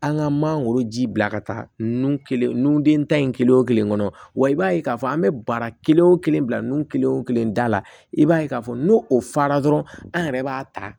An ka mangoro ji bila ka taa nun kelen nun den ta in kelen o kelen kɔnɔ wa i b'a ye k'a fɔ an be baara kelen wo kelen bila nun kelen o kelen da la i b'a ye k'a fɔ n'o o fara dɔrɔn an yɛrɛ b'a ta